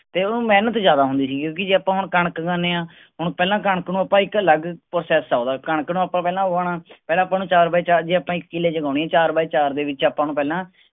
ਤੇ ਓਨੁ ਮੇਹਨਤ ਜ਼ਿਆਦਾ ਹੁੰਦੀ ਆ ਠੀਕ ਆ ਜੇ ਆਪਾਂ ਹੁਣ ਕਣਕ ਉਗਾਉਂਦੇ ਆਂ ਹੁਣ ਪਹਿਲਾਂ ਕਣਕ ਨੂੰ ਆਪਾਂ ਇੱਕ ਅਲੱਗ ਆ ਓਹਦਾ ਕਣਕ ਦਾ ਪਹਿਲਾਂ ਆਪਾਂ ਪਹਿਲਾ ਉਗਾਉਣਾ ਪਹਿਲਾਂ ਆਪਾਂ ਨੂੰ ਚਾਰ ਬਾਏ ਚਾਰ ਜੇ ਆਪਾਂ ਇੱਕ ਕਿੱਲੇ ਜਮਾਉਣੀ ਆ ਚਾਰ ਬਾਏ ਚਾਰ ਦੇ ਵਿਚ ਆਪਾਂ ਨੂੰ ਪਹਿਲਾਂ